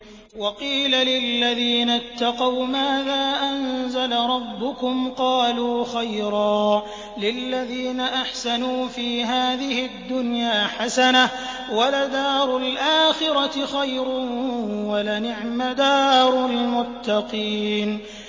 ۞ وَقِيلَ لِلَّذِينَ اتَّقَوْا مَاذَا أَنزَلَ رَبُّكُمْ ۚ قَالُوا خَيْرًا ۗ لِّلَّذِينَ أَحْسَنُوا فِي هَٰذِهِ الدُّنْيَا حَسَنَةٌ ۚ وَلَدَارُ الْآخِرَةِ خَيْرٌ ۚ وَلَنِعْمَ دَارُ الْمُتَّقِينَ